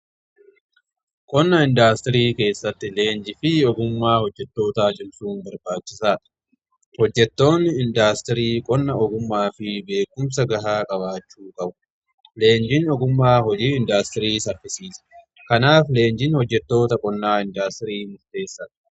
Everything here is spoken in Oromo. Qonna indaastirii keessatti leenji fi ogumaa hojjettoota cimsuun barbaachisaadha . Hojjettoonni indaastirii qonna ogumaa fi beekumsa gahaa qabaachuu qabu. Leenjin ogumaa hojii indaastirii saffisiisa kanaaf leenjin hojjettoota qonnaa indaastirii keessaa.